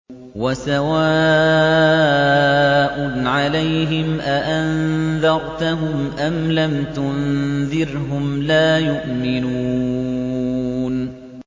وَسَوَاءٌ عَلَيْهِمْ أَأَنذَرْتَهُمْ أَمْ لَمْ تُنذِرْهُمْ لَا يُؤْمِنُونَ